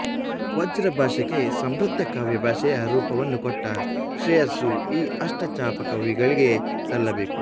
ವ್ರಜಭಾಷೆಗೆ ಸಮೃದ್ಧ ಕಾವ್ಯಭಾಷೆಯ ರೂಪವನ್ನು ಕೊಟ್ಟ ಶ್ರೇಯಸ್ಸು ಈ ಅಷ್ಟಛಾಪಕವಿಗಳಿಗೇ ಸಲ್ಲಬೇಕು